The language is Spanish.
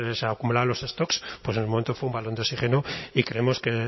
se les acumulaban los stock pues en el momento fue un balón de oxígeno y creemos que